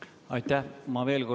Aitäh!